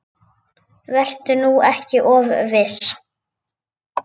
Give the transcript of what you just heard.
Vertu nú ekki of viss.